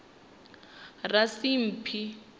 rasimphi